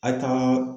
A kan